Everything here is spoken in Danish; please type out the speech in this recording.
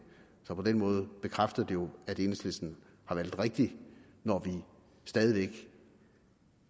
så på den måde bekræfter det jo at enhedslisten har valgt rigtigt når vi stadig væk